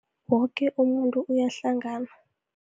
Woke umuntu uyahlangana.